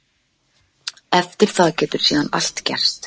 Eftir það getur síðan allt gerst.